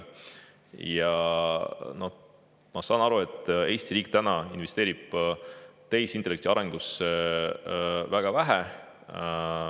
Ma saan aru, et Eesti riik investeerib täna tehisintellekti arengusse väga vähe.